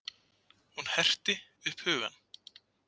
Hún herti upp hugann.